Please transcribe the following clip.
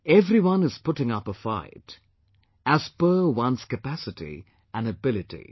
Everyone is putting up a fight, as per one's capacity and ability